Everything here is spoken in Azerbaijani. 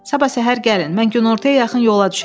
Sabah səhər gəlin, mən günortaya yaxın yola düşəcəm.